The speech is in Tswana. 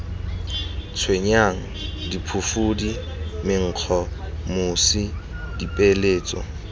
tshwenyang diphufudi menkgo mosi dipeeletso